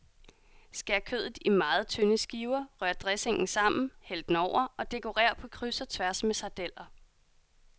Skær kødet i meget tynde skiver, rør dressingen sammen, hæld den over, og dekorer på kryds og tværs med sardeller.